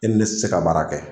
I ni ne tɛ se ka baara kɛ